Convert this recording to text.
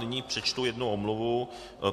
Nyní přečtu jednu omluvu.